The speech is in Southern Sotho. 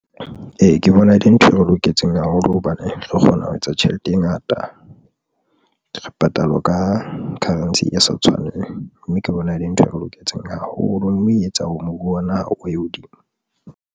Ee, ke bona e le ntho e re loketseng haholo hobane re kgona ho etsa tjhelete e ngata, re patalwa ka currency e sa tshwaneng, mme ke bona e le ntho e re loketseng haholo mme e etsa o moruo wa naha o ye hodimo.